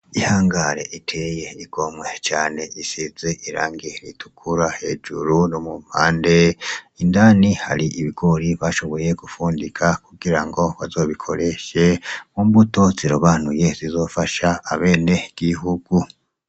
Ihangare iteye igomwe cane isize irangiridukura hejuru rumummande indani hari ibigori bashoboye gufundika kugira ngo bazobikoreshe mu mbuto zirobanuye zizofasha abene w'ihugu.